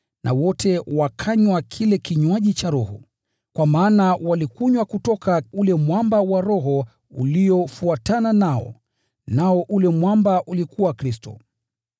na wote wakanywa kile kile kinywaji cha roho, kwa maana walikunywa kutoka ule mwamba wa roho uliofuatana nao, nao ule mwamba ulikuwa Kristo.